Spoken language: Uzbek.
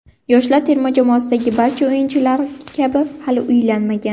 Yoshlar terma jamoasidagi barcha o‘yinchilar kabi hali uylanmagan.